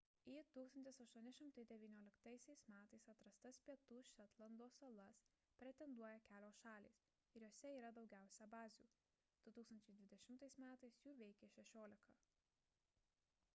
į 1819 m atrastas pietų šetlando salas pretenduoja kelios šalys ir jose yra daugiausiai bazių – 2020 m jų veikė šešiolika